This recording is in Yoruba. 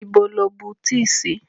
Ibo lo bu tíì sí?